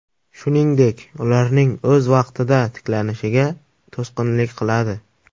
Shuningdek, ularning o‘z vaqtida tiklanishiga to‘sqinlik qiladi.